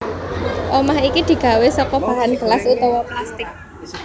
Omah iki digawé saka bahan gelas utawa plastik